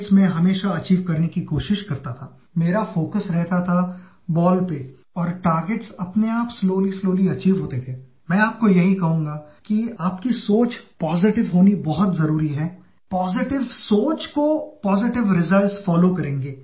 I know that the 10th Board Exams are going to commence in a few days from now